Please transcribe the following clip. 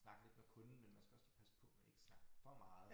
Snakke lidt med kunden men man skal også lige passe på man ikke snakker for meget